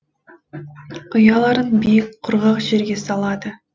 ұяларын биік құрғақ жерге салады